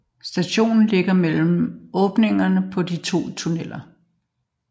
Stationen ligger mellem åbningerne på de to tunneller